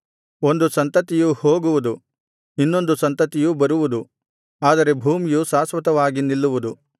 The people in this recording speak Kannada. ಒಂದು ಸಂತತಿಯು ಹೋಗುವುದು ಇನ್ನೊಂದು ಸಂತತಿಯು ಬರುವುದು ಆದರೆ ಭೂಮಿಯು ಶಾಶ್ವತವಾಗಿ ನಿಲ್ಲುವುದು